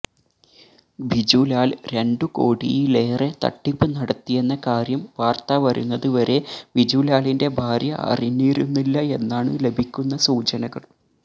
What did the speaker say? ബിജുലാൽ രണ്ടു കോടിയിലേറെ തട്ടിപ്പ് നടത്തിയെന്ന കാര്യം വാർത്ത വരുന്നത് വരെ ബിജുലാലിന്റെ ഭാര്യ അറിഞ്ഞിരുന്നില്ല എന്നാണ് ലഭിക്കുന്ന സൂചനകൾ